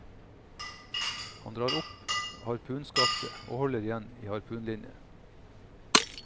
Han drar opp harpunskaftet og holder igjen i harpunlinen.